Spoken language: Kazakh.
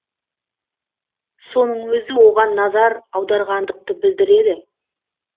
соның өзі оған назар аударғандықты білдіреді